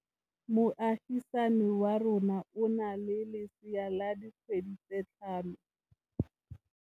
Moagisane wa rona o na le lesea la dikgwedi tse tlhano.